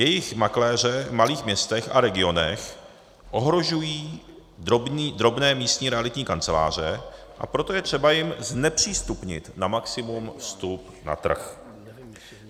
Jejich makléře v malých městech a regionech ohrožují drobné místní realitní kanceláře, a proto je třeba jim znepřístupnit na maximum vstup na trh.